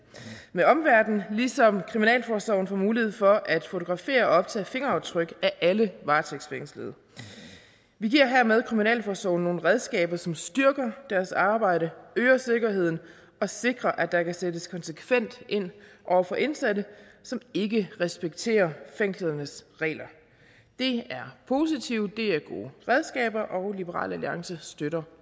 med omverden ligesom kriminalforsorgen får mulighed for at fotografere og optage fingeraftryk af alle varetægtsfængslede vi giver hermed kriminalforsorgen nogle redskaber som styrker deres arbejde øger sikkerheden og sikrer at der kan sættes konsekvent ind over for indsatte som ikke respekterer fængslernes regler det er positivt det er gode redskaber og liberal alliance støtter